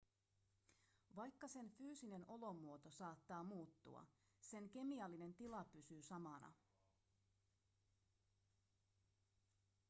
vaikka sen fyysinen olomuoto saattaa muuttua sen kemiallinen tila pysyy samana